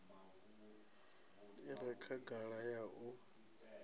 i re khagala ya u